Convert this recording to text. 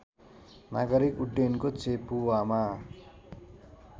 नागरिक उड्डयनको चेपुवामा